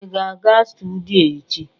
ị ga-aga studio echi?